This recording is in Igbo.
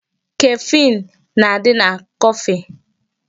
Caffeine na-adị na coffee.